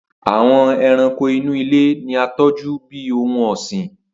Awọn ẹranko inu ile ni a tọju bi ohun ọsin.